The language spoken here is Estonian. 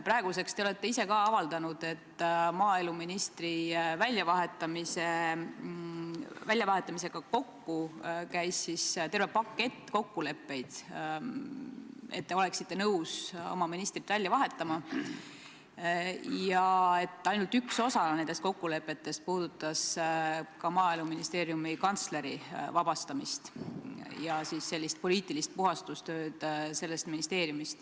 Praeguseks olete te ka ise avaldanud mõtet, et maaeluministri väljavahetamisega käis koos terve pakett kokkuleppeid, et te oleksite nõus oma ministrit välja vahetama, ja et ainult üks osa nendest kokkulepetest puudutas Maaeluministeeriumi kantsleri vabastamist ja sellist poliitilist puhastustööd selles ministeeriumis.